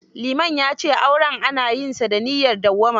Liman ya ce aure ana yinsa da niyyar dawwama.